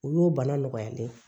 U y'o bana nɔgɔyalen ye